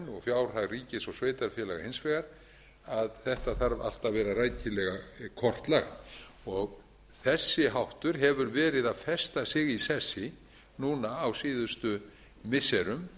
og fjárhag ríkis og sveitarfélaga hins vegar að þetta þarf allt að vera rækilega kortlagt og þessi háttur hefur verið að festa sig í sessi núna á síðustu missirum